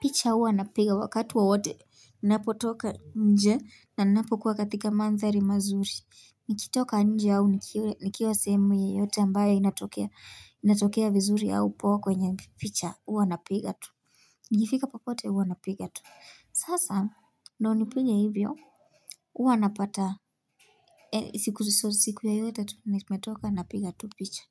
Picha huwa napiga wakati wowote. Ninapotoka nje na ninapo kuwa katika mandhari mazuri. Nikitoka nje au nikiwa sehemu yoyote ambayo inatokea vizuri au poa kwenye picha huwa napiga tu. Nikifika popote huwa napiga tu. Sasa ndo unipige hivyo. Huwa napata. Siku yoyote tu ndio tumetoka napiga tu picha.